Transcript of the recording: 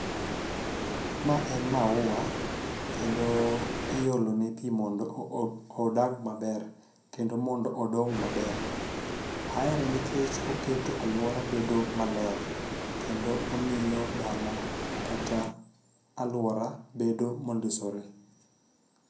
Ma en maua kendo iole ne pi mondo odag maber kendo mondo odong' maber, aere nikech oketo aluora bedo maler kendo omiyo dala kata aluora bedo mondisore.